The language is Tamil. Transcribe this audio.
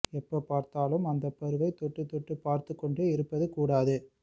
எப்ப பார்த்தாலும் அந்த பருவை தொட்டு தொட்டு பார்த்துக் கொண்டே இருப்பது கூடாது